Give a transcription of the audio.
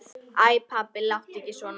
Æ pabbi, láttu ekki svona.